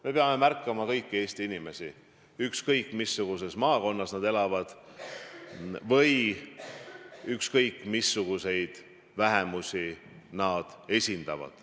Me peame märkama kõiki Eesti inimesi, ükskõik mis maakonnas nad elavad või ükskõik missuguseid vähemusi nad esindavad.